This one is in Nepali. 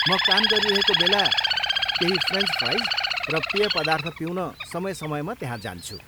म काम गरिरहेको बेला केही फ्रेन्च फ्राइज र पेय पदार्थ पिउन समय समयमा त्यहाँ जान्छु।